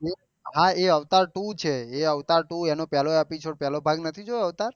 હા એ Avatar two છે એનો પેહલો એપિસોડ પેહ્લો ભાગ નથી જોયો